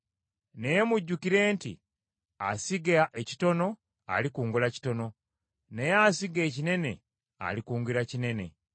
Naye mujjukire nti, “Asiga ekitono alikungula kitono, naye asiga ekinene alikungula kinene.”